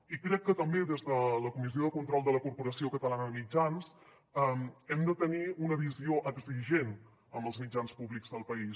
i crec que també des de la comissió de control de la corporació catalana de mitjans hem de tenir una visió exigent amb els mitjans públics del país